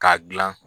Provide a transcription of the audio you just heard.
K'a gilan